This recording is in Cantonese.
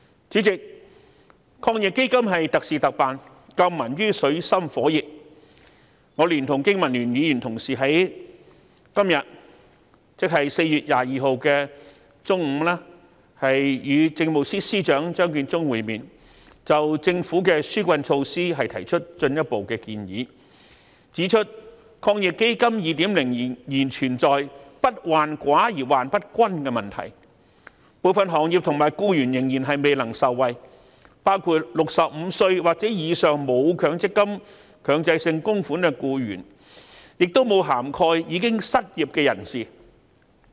主席，抗疫基金是特事特辦，救民於水深火熱，我連同經民聯議員同事剛在今天中午，與政務司司長張建宗會面，就政府的紓困措施提出進一步的建議，指出抗疫基金 2.0 仍存在不患寡而患不均的問題，部分行業和僱員仍然未能受惠，包括65歲或以上沒有強積金供款的僱員，亦沒有涵蓋失業人士。